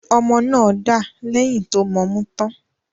Ọmọ náà dà lẹ̀yìn tó mọmú tán.